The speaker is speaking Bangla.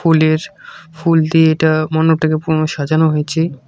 ফুলের ফুল দিয়ে এটা মন্ডপটাকে পুনো সাজানো হয়েছে।